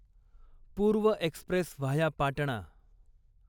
पूर्व express via Patna